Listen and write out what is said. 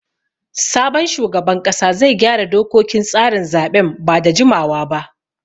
Sabon shugaban ƙasa zai gyara dokokin tsarin zaɓen ba da jimawa ba.